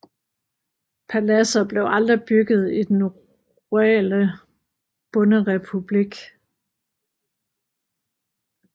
Paladser blev aldrig bygget i den rurale bonderepublik